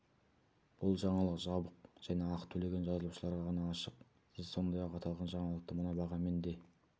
бұл жаңалық жабық және ақы төлеген жазылушыларға ғана ашық сіз сондай-ақ аталған жаңалықты мына бағамен де